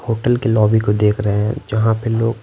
hotel के lobby को देख रहे हैं जहां पे लोग--